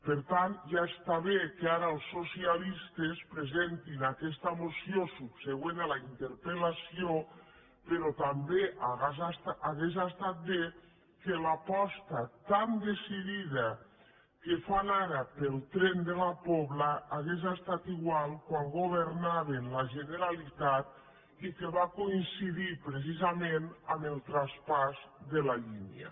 per tant ja està bé que ara els socialistes presentin aquesta moció subsegüent a la interpel·lació però també hauria estat bé que l’aposta tan decidida que fan ara pel tren de la pobla hagués estat igual quan governaven la generalitat i que va coincidir precisament amb el traspàs de la línia